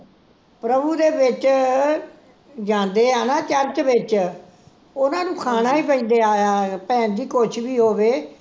ਪ੍ਰਭੂ ਦੇ ਵਿਚ ਜਾਂਦੇ ਐ ਨਾ ਚਰਚ ਵਿਚ ਓਹਨਾ ਨੂੰ ਖਾਣਾ ਹੀ ਪੈਂਦਾ ਆ, ਭੈਣਜੀ ਕੁਛ ਵੀ ਹੋਵੇ